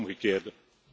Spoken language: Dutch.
U doet het omgekeerde.